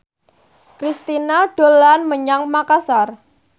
Kristina dolan menyang Makasar